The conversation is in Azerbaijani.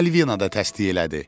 Malvina da təsdiq elədi.